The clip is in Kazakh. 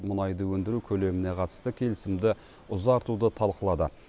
мұнайды өндіру көлеміне қатысты келісімді ұзартуды талқылады